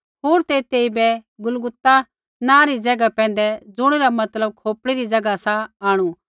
होर ते तेइबै गुलगुता नाँ री ज़ैगा पैंधै ज़ुणिरा मतलब खोपड़ी री ज़ैगा सा आंणु